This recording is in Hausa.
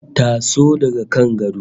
Taso daga kan gado